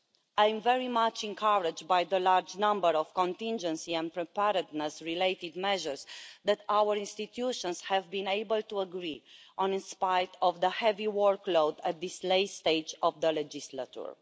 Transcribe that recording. I am very much encouraged by the large number of contingency and preparedness-related measures that our institutions have been able to agree, in spite of the heavy workload at this late stage of the mandate.